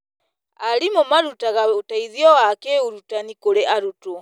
Arimũ marutaga ũteithio wa kĩũrutani kũrĩ arutwo.